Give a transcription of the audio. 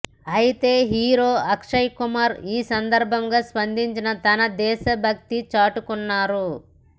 ఐతే హీరో అక్షయ్ కుమార్ ఈ సందర్బంగా స్పందించి తన దేశ భక్తి చాటుకున్నారు